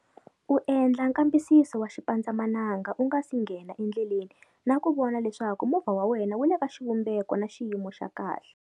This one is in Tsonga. U endla nkambisiso wa xipandzamananga u nga si nghena endleleni na ku vona leswaku movha wa wena wu le ka xivumbeko na xiyimo xa kahle.